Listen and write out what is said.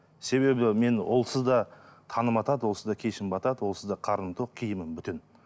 себебі мен олсыз да таңым атады олсыз да кешім батады олсыз да қарным тоқ киімім бүтін